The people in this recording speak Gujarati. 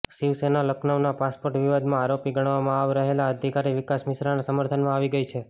શિવસેના લખનઉના પાસપોર્ટ વિવાદમાં આરોપી ગણાવવામાં આવ રહેલા અધિકારી વિકાસ મિશ્રાના સમર્થનમાં આવી ગઈ છે